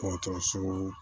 K'o tɔ sugu